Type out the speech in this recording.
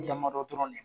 Damadɔ dɔrɔn de